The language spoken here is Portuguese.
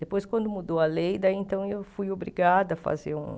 Depois, quando mudou a lei, daí então eu fui obrigada a fazer um...